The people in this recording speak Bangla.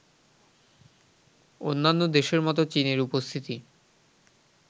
অন্যান্য দেশের মতো চীনের উপস্থিতি